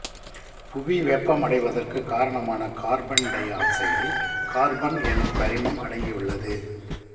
புவி வெப்பமடைவதற்கு காரணமான கார்பன் டை ஆக்சைடில் கார்பன் என்னும் கரிமம் அடங்கியுள்ளது